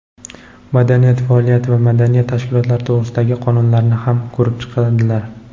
"Madaniy faoliyat va madaniyat tashkilotlari to‘g‘risida"gi qonunlarini ham ko‘rib chiqadilar.